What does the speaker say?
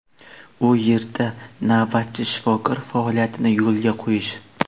u yerda navbatchi shifokor faoliyatini yo‘lga qo‘yish.